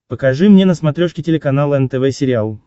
покажи мне на смотрешке телеканал нтв сериал